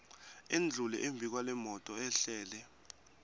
endlule embikwalemoto ehlele